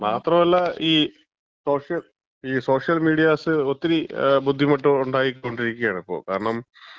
മാത്രമല്ല, ഈ സോഷ്യൽ, ഈ സോഷ്യൽ മീഡിയാസ് ഒത്തിരി ബുദ്ധിമുട്ടുണ്ടായിക്കൊണ്ടിരിക്കാണിപ്പൊ. കാരണം